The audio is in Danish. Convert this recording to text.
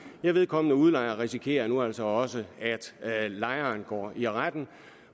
vedkommende udlejer risikerer nu altså også at lejeren kan gå til retten